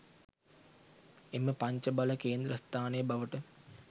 එම පංච බල කේන්ද්‍රස්ථානය බවට